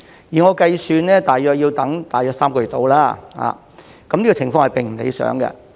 據我計算大約要等3個月，這情況並不理想。